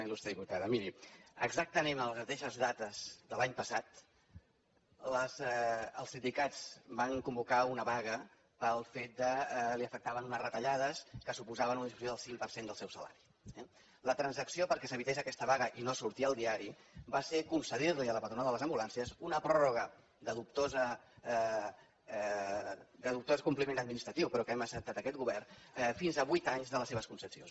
il·lustre diputada miri exactament en les mateixes dates de l’any passat els sindicats van convocar una vaga pel fet que els afectaven unes retallades que suposaven una disminució del cinc per cent del seu salari eh la transacció perquè s’evités aquesta vaga i no sortir al diari va ser concedir li a la patronal de les ambulàncies una pròrroga de dubtós compliment administratiu però que hem acceptat aquest govern de fins a vuit anys de les seves concessions